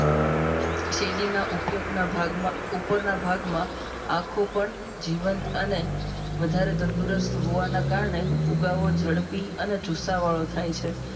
શેરડીના ઉપયોગના ભાગમાં ઉપરના ભાગમાં આંખો પણ જીવંત અને. વધારે તંદુરસ્ત હોવાના કારણે ઉગાવ ઝડપી અને જુસ્સા વાળો થાય છે.